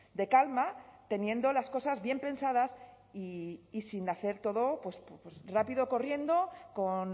de calma teniendo las cosas bien pensadas y sin hacer todo rápido corriendo con